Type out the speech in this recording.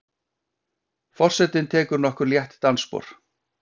Forsetinn tekur nokkur létt dansspor.